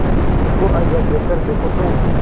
बुधगुप्त को आज्ञा देकर देखो तो